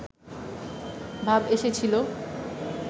ভাব এসেছিলো